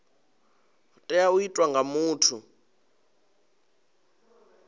tea u itwa nga muthu